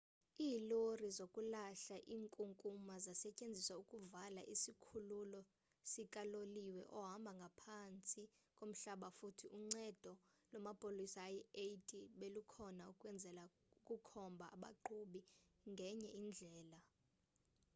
iilori zokulahla inkunkuma zasetyenziswa ukuvala isikhululo sikaloliwe ohamba ngaphantsi komhlaba futhi uncedo lwamapolisa ayi-80 belukhona ukwenzela ukukhombha abaqhubi ngenye indlela